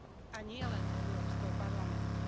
A nielen Európskeho parlamentu.